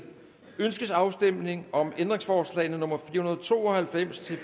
ønskes afstemning om ændringsforslag nummer fire og to og halvfems til